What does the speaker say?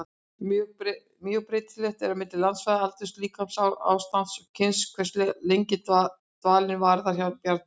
Mjög breytilegt er milli landsvæða, aldurs, líkamsástands og kyns hversu lengi dvalinn varir hjá bjarndýrum.